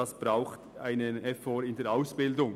Dazu braucht es einen Effort bei der Ausbildung.